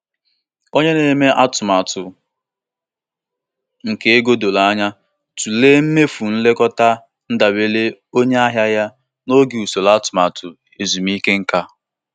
Dịka nne na-arụ ọrụ ya, ọ na-eburu ụzọ n'echekwa akụkụ ego ọ na-akpata maka mmefu agụmakwụkwọ ụmụ ya n'ọdịnihu.